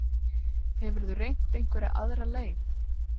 Hefurðu reynt einhverja aðra leið?